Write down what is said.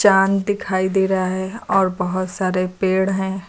मैदान दिखाई दे रहा है और बहोत सारे पेड़ हैं।